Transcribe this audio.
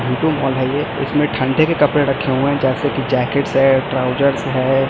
We two mall ये इसमें ठंडे के कपड़े रखे हुए हैं जैसे की जैकेट्स है ट्राउजर्स है।